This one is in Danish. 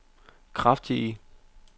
kraftige